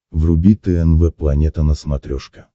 вруби тнв планета на смотрешке